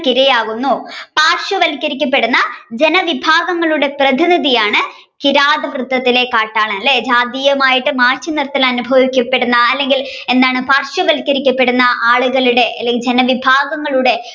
ഇരയാകുന്നു പാർശ്യവരിക്കപ്പെടുന്ന ജനവിഭാഗങ്ങളുടെ പ്രതിനിധിയാണ് കിരാതവൃത്തത്തിലെ കാട്ടാളൻ അല്ലെ ജാതിയാമായി മാറ്റി നിർത്തൽ അനുഭവിക്കപ്പെട്ട അല്ലെങ്കിൽ എന്താണ് പാർശ്യവരിക്കപ്പെടുന്ന ആളുകളുടെ അല്ലെങ്കിൽ ജനവിഭാങ്ങങ്ങളുടെ